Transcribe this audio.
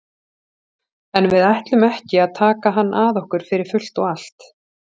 En við ætlum ekki að taka hann að okkur fyrir fullt og allt.